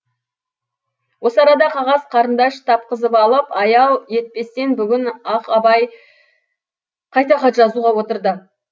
осы арада қағаз қарындаш тапқызып алып аял етпестен бүгін ақ абай қайта хат жазуға отырды